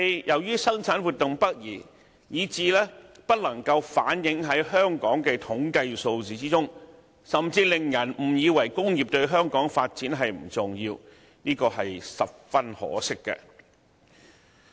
由於生產活動北移，以至不能反映在香港的統計數字之中，甚至令人誤以為工業對香港發展不重要，確是十分可惜。